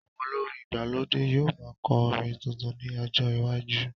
Àwọn olórin ìgbàlódé yóò máa kọ orin tuntun ní ọjọ iwájú